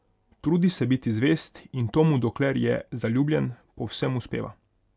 Trudi se biti zvest in to mu, dokler je zaljubljen, povsem uspeva.